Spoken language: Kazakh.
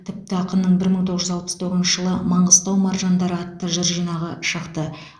тіпті ақынның бір мың тоғыз жүз алпыс тоғызыншы жылы маңғыстау маржандары атты жыр жинағы шықты